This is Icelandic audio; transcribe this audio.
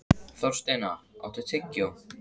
Þorsteina, áttu tyggjó?